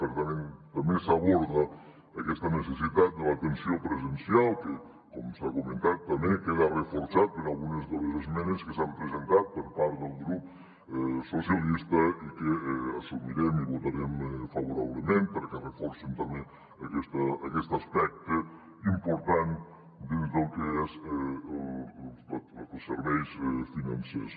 per tant també s’aborda aquesta necessitat de l’atenció presencial que com s’ha comentat també queda reforçat per algunes de les esmenes que s’han presentat per part del grup socialista i que assumirem i votarem favorablement perquè reforcen també aquest aspecte important dins del que són els serveis financers